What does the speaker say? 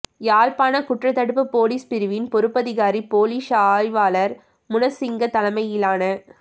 யாழ்ப்பான குற்றத்தடுப்பு பொலிஸ் பிரிவின் பொறுப்பதிகாரி பொலிஸ் ஆய்வாளர் முனசிங்க தலைமையிலான